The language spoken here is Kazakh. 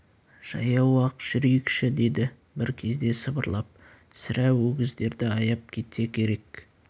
жаяу-ақ жүрейікші деді бір кезде сыбырлап сірә өгіздерді аяп кетсе керек